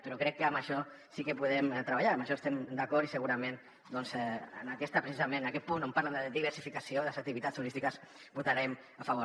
però crec que en això sí que podem treballar en això estem d’acord i segurament doncs precisament en aquest punt on parlen de diversificació de les activitats turístiques votarem a favor